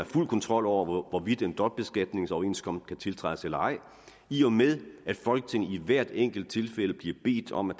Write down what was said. fuld kontrol over hvorvidt en dobbeltbeskatningsoverenskomst kan tiltrædes eller ej i og med at folketinget i hvert enkelt tilfælde bliver bedt om at